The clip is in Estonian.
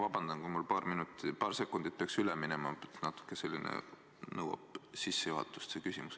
Vabandust, kui mul paar sekundit peaks üle minema, aga mu küsimus nõuab natuke sissejuhatust.